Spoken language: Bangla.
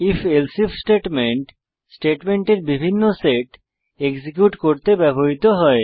IfElse আইএফ স্টেটমেন্ট স্টেটমেন্টের বিভিন্ন সেট এক্সিকিউট করতে ব্যবহৃত হয়